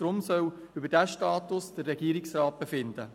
Deshalb soll der Regierungsrat über diesen Status befinden.